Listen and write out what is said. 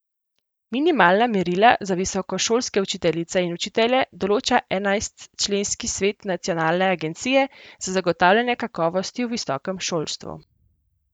Minimalna merila za visokošolske učiteljice in učitelje določa enajstčlanski svet Nacionalne agencije za zagotavljanje kakovosti v visokem šolstvu.